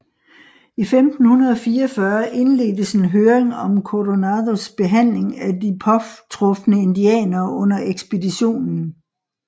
I 1544 indledtes en høring om Coronados behandling af de påtrufne indianere under ekspeditionen